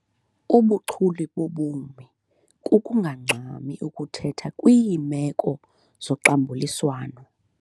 Ubuchule bobomi kukungangxami ukuthetha kwiimeko zoxambuliswno.